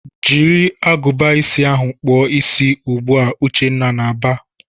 "Jiri agụba ịsị ahụ kpụọ isi ugbu a!" Uchenna na-aba.